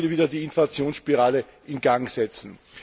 Das würde wiederum die Inflationsspirale in Gang setzen.